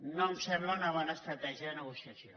no em sembla una bona estratègia de negociació